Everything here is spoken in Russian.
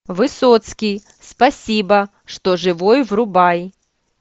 высоцкий спасибо что живой врубай